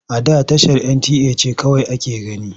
A da tashar NTA ce kawai ake gani.